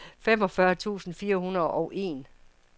femogfyrre tusind fire hundrede og en